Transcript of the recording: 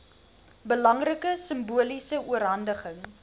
belangrike simboliese oorhandiging